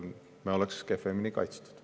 Me oleks kehvemini kaitstud.